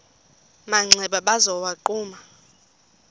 manxeba waza wagquma